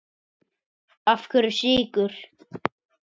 Af hverju Sykur?